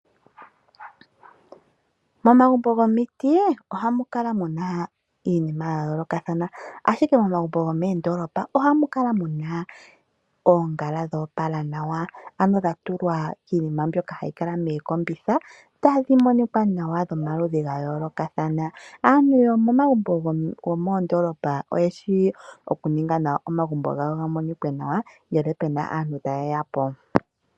Momagumbo gomiti ohamu kala muna iinima ya yoolokothana, ihe momagumbo gomoondolopa ohamu kala muna oongala dhoopala anawa ano dhatulwa kiinima mbyoka yili mookombitha. Aaantu yomoondolopa oyeshi okuninga nawa omagumbo gawo ga kale taga monika nawa ngeke puna aantu taye yapo.